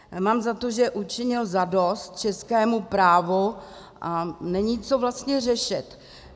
Mám za to, že učinil zadost českému právu a není co vlastně řešit.